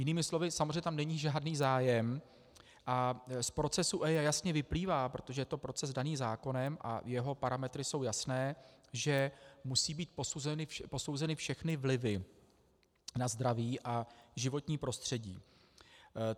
Jinými slovy, samozřejmě tam není žádný zájem a z procesu EIA jasně vyplývá, protože je to proces daný zákonem a jeho parametry jsou jasné, že musí být posouzeny všechny vlivy na zdraví a životní prostředí.